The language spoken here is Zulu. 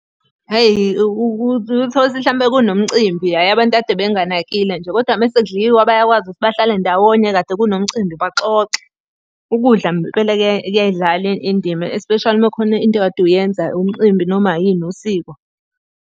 Hhayi uke uthole ukuthi mhlampe kunomcimbi, hhayi abantu kade benganakile nje, kodwa uma sekudliwa bayakwazi ukuthi bahlale ndawonye kade kunomcimbi baxoxe. Ukudla ngempela kuyayidlala indima especially uma kukhona into okade uyenza umcimbi noma yini, usiko.